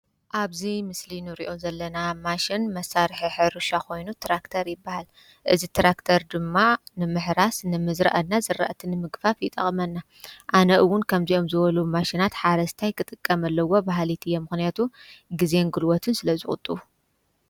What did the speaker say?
ኣብዚ ምስሊ ንሪኦ ዘለና ማሽን መሳርሒ ሕርሻ ኮይኑ ትራክተር ይበሃል እዚ ትራክተር ድማ ንምሕራስ ንምዝረእ እና ዝራእቲ ንምግፋፍ ይጠቕመና። ኣነ እውን ከምዚኦም ዝበሉ ማሽናት ሓረስታይ ክጥቀም ኣለዎ ባህሊት እየ ምኽንያቱ ግዜን ጉልበትን ስለዝቑጥቡ።